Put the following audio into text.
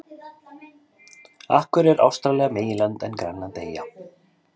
af hverju er ástralía meginland en grænland eyja